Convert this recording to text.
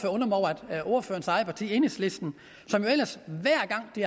at ordførerens eget parti enhedslisten som jo ellers hver gang de